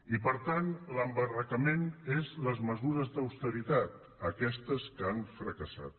i per tant l’embarrancament són les mesures d’austeritat aquestes que han fracassat